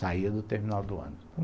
Saía do terminal do ônibus.